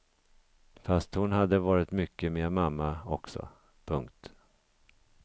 Fast hon hade varit mycket med mamma också. punkt